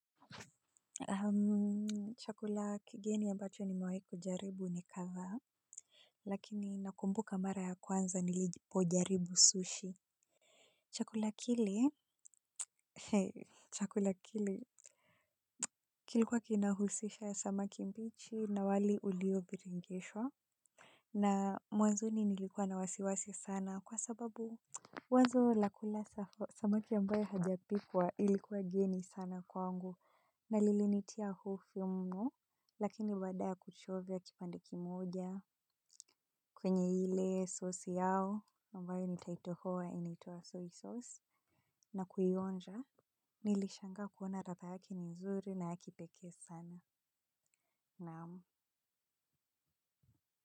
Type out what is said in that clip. Chakula kigeni ambacho nimewahi kujaribu ni kadhaa lakini nakumbuka mara ya kwanza nilipo jaribu sushi chakula kile chakula kile kilikuwa kinahusisha samaki mbichi na wali ulio biringeshwa na mwanzoni nilikuwa na wasiwasi sana kwa sababu wazo la kula samaki ambaye hajapikwa ilikuwa geni sana kwangu na lilinitia hofu mno lakini baada ya kuchovya kipande kimoja kwenye ile sosi yao ambayo nitaitohoa inaitwa soy sauce na kuionja nilishangaa kuona ladha yake ni nzuri na ya kipekee sana, naam.